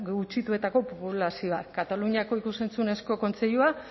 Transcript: gutxituetako populazioa kataluniako ikus entzunezko kontseilua